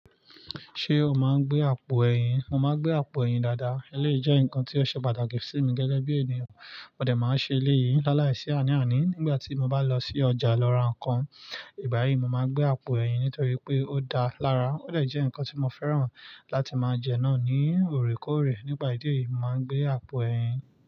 Ṣé o máa ń gbé àpò ẹ̀yìn? Mo máa gbé àpò ẹ̀yìn dáadáa. Eléyìí jẹ́ nǹkan tí ó ṣe pàtàkì sí mi gẹ́gẹ́ bí ènìyàn. Mò dẹ̀ máa ṣe eléyìí lálàíṣi àní àní nígbà tí mo bá lọ sí ọjà lọ ra nǹkan. Ìgbà yìí, mo máa n gbé àpò ẹ̀yìn nítorí pé ó dáa lára, ó dẹ̀ jẹ́ ǹkan tí mo fẹ́ràn láti máa jẹ náà ní òrékọ́ọ̀rẹ́. Nípà idí yìí, mo màá n gbé àpò ẹ̀yìn.